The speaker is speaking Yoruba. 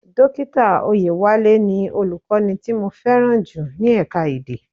Dókítà Oyewale ni Olùkọ́ni tí mo fẹ́ràn jù ní ẹ̀ka-èdè.